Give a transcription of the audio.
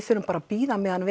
þurfum bara að bíða meðan